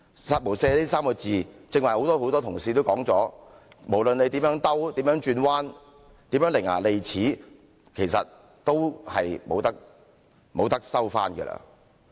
"殺無赦"這3個字，剛才很多同事都說過，無論你如何辯解，如何轉彎，如何伶牙俐齒，都不能收回。